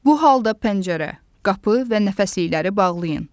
Bu halda pəncərə, qapı və nəfəslikləri bağlayın.